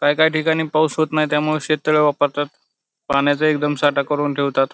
काय काय ठिकाणी पाऊस होत नाही त्यामुळे शेत तळे वापरतात पाण्याचा एकदम साठा करून ठेवतात.